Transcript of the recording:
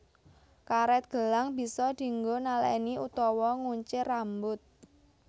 Karet gelang bisa dinggo naleni utawa nguncir rambut